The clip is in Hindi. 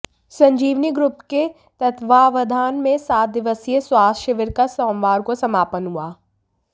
संजीवनी ग्रुप के तत्वावधान में सात दिवसीय स्वास्थ्य शिविर का सोमवार को समापन हुआ